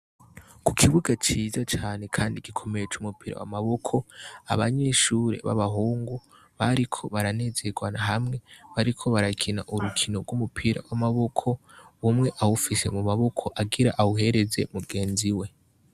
Ku kibuga ciza cane kandi gikomeye c'umupira w'amaboko, abanyeshure b'abahungu bariko baranezerwa hamwe. Bariko barakina urukino rw'umupira w'amaboko, umwe awufise mu maboko agira awuhereze mugenziwe.